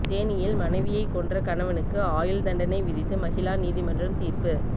தேனியில் மனைவியை கொன்ற கணவனுக்கு ஆயுள் தண்டனை விதித்து மகிளா நீதிமன்றம் தீர்ப்பு